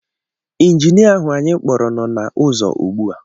Injinia ahu anyị kpọrọ no na uzo ugbu a